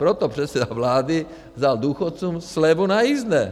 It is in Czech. Proto předseda vlády vzal důchodcům slevu na jízdné.